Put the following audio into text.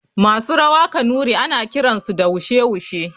Masu rawa kanuri ana kiransu da wushe wushe.